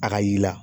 A ka yi la